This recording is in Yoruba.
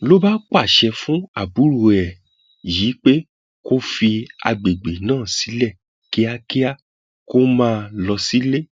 ló bá pàṣẹ fún àbúrò ẹ yìí pé kó fi àgbègbè náà sílẹ kíákíá kó máa lọ sílé